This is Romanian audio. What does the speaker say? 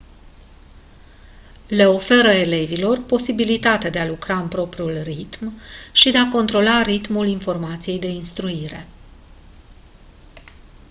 le oferă elevilor posibilitatea de a lucra în propriul ritm și de a controla ritmul informației de instruire